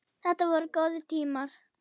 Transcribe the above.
Þetta voru góðir tímar.